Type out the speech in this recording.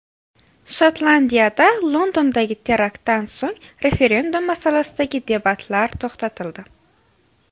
Shotlandiyada Londondagi teraktdan so‘ng referendum masalasidagi debatlar to‘xtatildi.